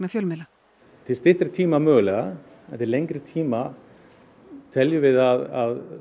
fjölmiðla til styttri tíma mögulega en til lengri tíma teljum við að